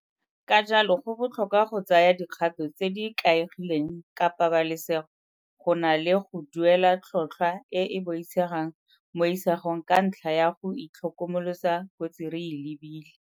Ka jalo go botlhokwa go tsaya dikgato tse di ikaegileng ka pabalasego go na le go duela tlhotllhwa e e boitshegang mo isagong ka ntlha ya go itlhokomolosa kotsi re e lebile.